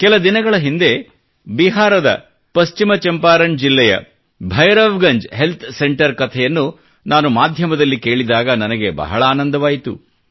ಕೆಲ ದಿನಗಳ ಹಿಂದೆ ಬಿಹಾರದ ಪಶ್ಚಿಮ ಚಂಪಾರಣ್ ಜಿಲ್ಲೆಯ ಭೈರವಗಂಜ್ ಹೆಲ್ತ್ ಸೆಂಟರ್ ಕಥೆಯನ್ನು ನಾನು ಮಾಧ್ಯಮದಲ್ಲಿ ಕೇಳಿದಾಗ ನನಗೆ ಬಹಳ ಆನಂದವಾಯಿತು